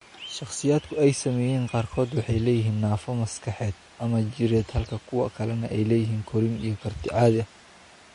Shakhsiyaadka ay saameeyeen qaarkood waxay leeyihiin naafo maskaxeed ama jireed halka kuwa kalena ay leeyihiin korriin iyo karti caadi ah.